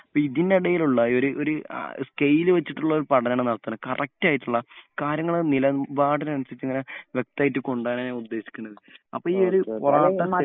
അപ്പോ ഇതിന്റെ ഇടയിലുള്ള ഒരു ഒരു സ്കെയിൽ വച്ചിട്ടുള്ള ഒരു പഠനമാണ് നടത്തുന്നെ. കറെക്റ്റ് ആയിട്ടുള്ള കാര്യങ്ങൾ നിലപാടിന് അനുസരിച്ച് ഇങ്ങനെ വ്യക്തായിട്ട് കൊണ്ടോവാൻ ഞാൻ ഉദ്ദേശിക്കുന്നത്. അപ്പോ ഈ ഒരു പൊറാട്ട സ്റ്റഡി